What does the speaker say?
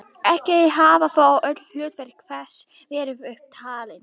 Ekki hafa þó öll hlutverk þess verið upp talin.